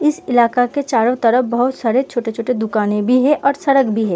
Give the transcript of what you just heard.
इस इलाका के चारो तरफ बहोत सारे छोटे-छोटे दुकाने भी हैं और सड़क भी है।